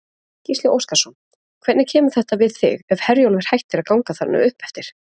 Gísli Óskarsson: Hvernig kemur þetta við þig ef Herjólfur hættir að ganga þarna uppeftir?